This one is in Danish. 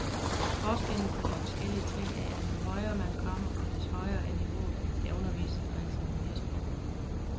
Forskellen på de forskellige trin er, at jo højere man kommer, des højere er niveauet, der undervises og eksamineres på.